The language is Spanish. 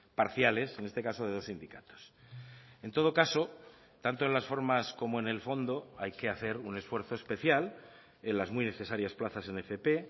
parciales en este caso de dos sindicatos en todo caso tanto en las formas como en el fondo hay que hacer un esfuerzo especial en las muy necesarias plazas en fp